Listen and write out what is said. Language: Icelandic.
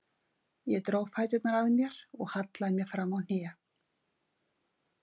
Ég dró fæturna að mér og hallaði mér fram á hnén.